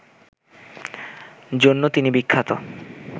জন্য তিনি বিখ্যাত